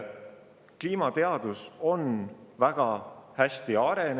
Kliimateadus on väga hästi arenenud.